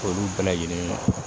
Olu bɛɛ lajɛlen na